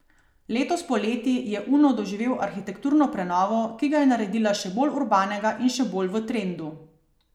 Letos poleti je Uno doživel arhitekturno prenovo, ki ga je naredila še bolj urbanega in še bolj v trendu.